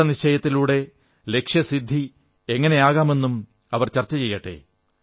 ദൃഢനിശ്ചയത്തിലൂടെ ലക്ഷ്യസിദ്ധി എങ്ങനെ ആകാമെന്നും ചർച്ച ചെയ്യട്ടെ